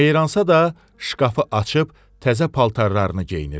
Meyransa da şkafı açıb təzə paltarlarını geyinirdi.